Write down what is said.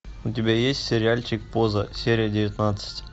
у тебя есть сериальчик поза серия девятнадцать